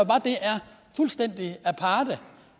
fuldstændig aparte